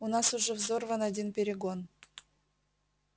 у нас уже взорван один перегон